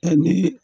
Ɛ ni